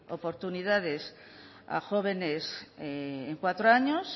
oportunidades a jóvenes en cuatro años